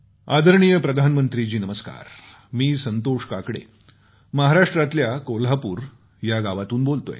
आदरणीय प्रधानमंत्री जी नमस्कार मी संतोष काकडे महाराष्ट्रातल्या कोल्हापूर या गावातून बोलतोय